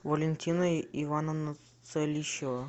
валентина ивановна целищева